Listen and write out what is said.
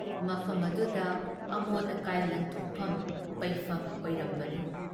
ꯃꯐꯝ ꯑꯗꯨꯨꯗ ꯑꯃꯣꯠ ꯀꯥꯏ ꯂꯪꯊꯣꯛꯐꯝ, ꯄꯩꯐꯝ ꯑꯣꯏꯔꯝꯕꯅꯤ ꯫